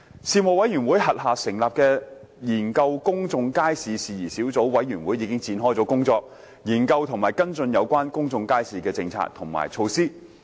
事務委員會轄下成立的研究公眾街市事宜小組委員會已展開工作，研究和跟進有關公眾街市的政策及措施。